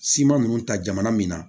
Sima ninnu ta jamana min na